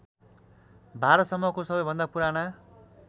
भारसम्मो सबैभन्दा पुराना